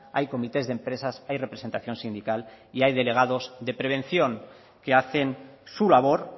hay comités de empresas hay representación sindical y hay delegados de prevención que hacen su labor